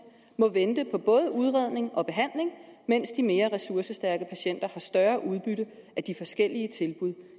må vente på både udredning og behandling mens de mere ressourcestærke patienter har større udbytte af de forskellige tilbud